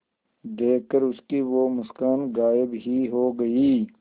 देखकर उसकी वो मुस्कान गायब ही हो गयी